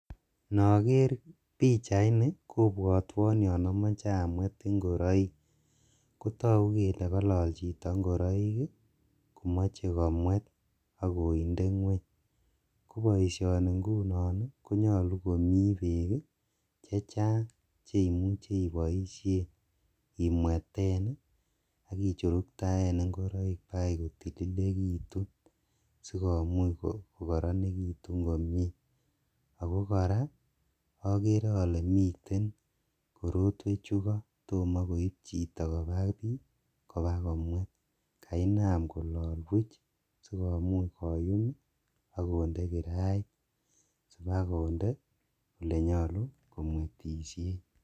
Nokeer pichaini kobwotwon yoon omoche amweet ing'oroik kotokuu kelee kolol chito ing'oroik komoche komwet akondee ngweny, koboishoni ng'unon ii konyolu komii beek chechang cheiboishen imweten akichuruktaen ing'oroik bakai kotililekitun sikomuch kotililekitun komnyee, akoo kora okeree olee miten korotwechu koo tom koib kobaa bii kibakomwet, kainam kolol buch sikomuch koyum akondee kirait sibakonde oleenyolu komwetishen.